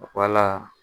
Wala